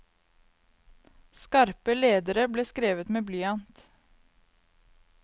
Skarpe ledere ble skrevet med blyant.